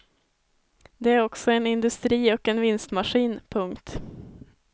Det är också en industri och en vinstmaskin. punkt